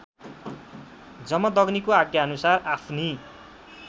जमदग्नीको आज्ञाअनुसार आफ्नी